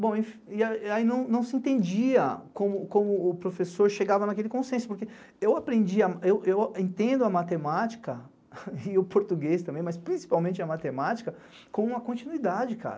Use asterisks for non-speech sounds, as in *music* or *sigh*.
Bom, enf e aí e aí não não se entendia como como o professor chegava naquele consenso, porque eu aprendi a, eu eu entendo a matemática, e o português também, *laughs* mas principalmente a matemática, com uma continuidade, cara.